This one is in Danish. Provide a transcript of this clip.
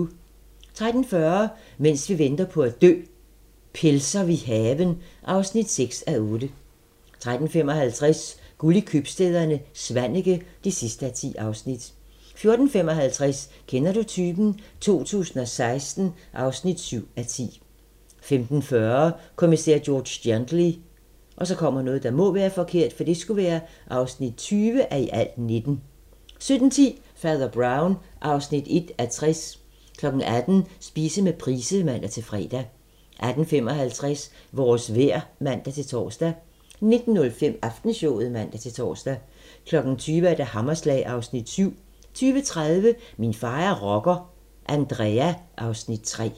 13:40: Mens vi venter på at dø - Pelser vi haven (6:8) 13:55: Guld i købstæderne - Svaneke (10:10) 14:55: Kender du typen? 2016 (7:10) 15:40: Kommissær George Gently (20:19) 17:10: Fader Brown (1:60) 18:00: Spise med Price (man-fre) 18:55: Vores vejr (man-tor) 19:05: Aftenshowet (man-tor) 20:00: Hammerslag (Afs. 7) 20:30: Min far er rocker – Andrea (Afs. 3)